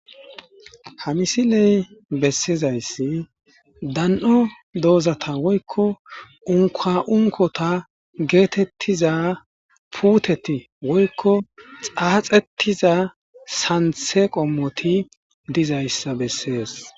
Ha misiley bessizayssi dan'o doozata woykko unkoa7unkota geetettiza puuteti woykko xaaxettiza santhe qommoti dizayssa bessees.